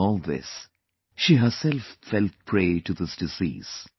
During all this, she herself fell prey to this disease